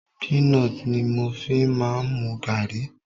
Peanut ni mo fi ń máa ń mu gààrí.